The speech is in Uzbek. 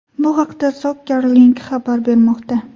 Bu haqda Soccer Link xabar bermoqda.